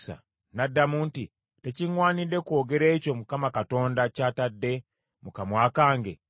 N’addamu nti, “Tekiŋŋwanidde kwogera ekyo Mukama Katonda ky’atadde mu kamwa kange?”